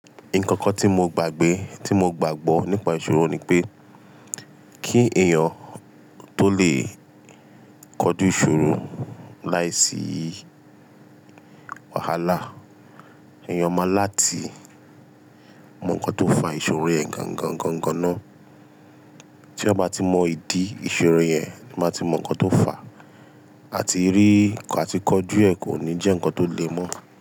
Nkankan tí mo gbàgbé, tí mo gbàgbọ́ nípa ìṣòro ni pé kí èèyàn tó lè kọjú ìṣòro láìsí wàhálà, èèyàn máa láti mọ nǹkan tó fà ìṣòro yẹn gan-gan gan-gan ná. Tí èèyàn bá ti mọ ìdí ìṣòro yẹn, máa ti mọ nǹkan tó fà àti rí, àti kọjú ẹ̀ kò ní jẹ́ nǹkan tó lè mọ́